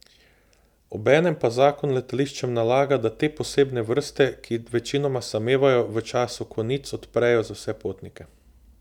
Obenem pa zakon letališčem nalaga, da te posebne vrste, ki večinoma samevajo, v času konic odprejo za vse potnike.